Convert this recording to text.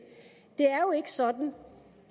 det er jo ikke sådan